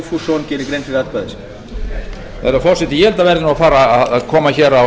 herra forseti ég held að það verði að fara að koma á